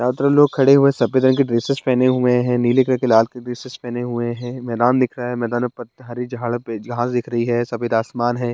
चारों तरफ लोग खड़े हुए हैं सफ़ेद रंग के ड्रेसेस पहने हुए हैं नीले कलर के के ड्रेसेस पहने हुए हैं मैदान दिख रहा है। मैदान में पत हरी झाड़ पे जहाज दिख रही है सफ़ेद आसमान है।